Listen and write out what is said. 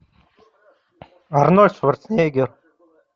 арнольд шварценеггер